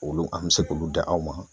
Olu an bɛ se k'olu da aw ma.